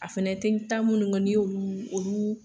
A fana tɛ ta minnu kɔ n'i y'olu olu